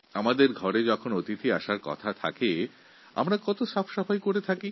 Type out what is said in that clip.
আমাদের ঘরে যখন অতিথিরা আসেন তার আগে ঘরকে আমরা খুব পরিষ্কারপরিচ্ছন্ন করে সুন্দর করে সাজাই